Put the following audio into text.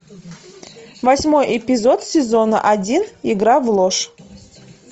восьмой эпизод сезона один игра в ложь